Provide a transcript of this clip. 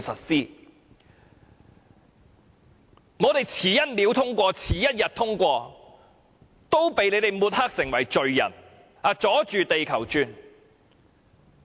只要我們延遲1秒或1天通過《條例草案》，也會被抹黑成為罪人，說我們"阻住地球轉"。